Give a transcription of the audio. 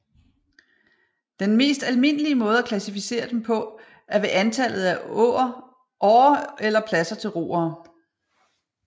Den mest almindelige måde at klassificere dem på er ved antallet af årer eller pladser til roere